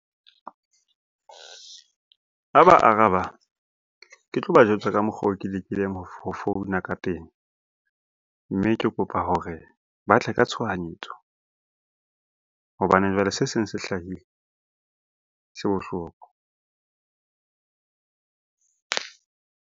Ha ba araba ke tlo ba jwetsa ka mokgwa oo ke lekileng ho founa ka teng. Mme ke kopa hore ba tle ka tshohanyetso hobane jwale se seng se hlahile se bohloko.